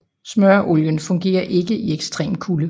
Smøreolien fungerede ikke i ekstrem kulde